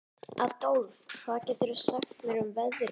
Adólf, hvað geturðu sagt mér um veðrið?